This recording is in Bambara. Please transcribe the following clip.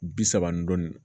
Bi saba ni dɔɔnin